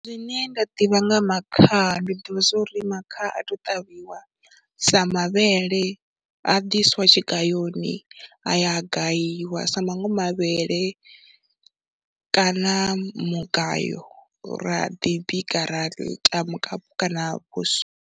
Zwine nda ḓivha nga makhaha, ndi ḓivha zwa uri makhaha a tou ṱavhiwa sa mavhele, a diswa tshigayoni, a ya a gayiwa sa maṅwe mavhele kana mugayo ra ḓi bika, ra ita mukapu kana vhuswa.